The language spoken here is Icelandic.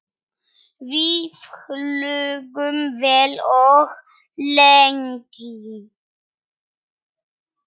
Við hlógum vel og lengi.